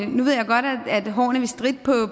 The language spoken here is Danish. nu ved jeg godt at hårene vil stritte